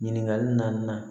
Ɲininkali naaninan